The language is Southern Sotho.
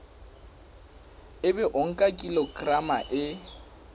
ebe o nka kilograma e